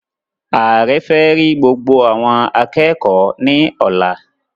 Ààrẹ fẹ rí gbogbo awọn akẹẹkọ ní ọ̀la